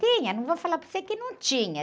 Tinha, não vou falar para você que não tinha.